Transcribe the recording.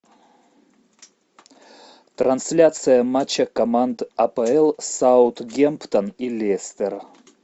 трансляция матча команд апл саутгемптон и лестер